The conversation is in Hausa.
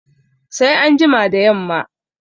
Sai an jima da yamma